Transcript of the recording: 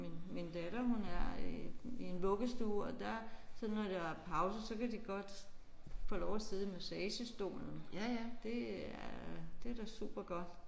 Min min datter hun er i i en vuggestue og der så når der er pauser så kan de godt få lov at sidde i massagestolen. Det er det er da super godt